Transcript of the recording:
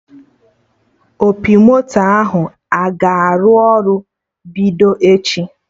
Opi moto ahụ a ga-arụ ọrụ bido echi?